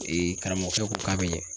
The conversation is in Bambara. karamɔgɔkɛ ko k'a bɛ ɲɛ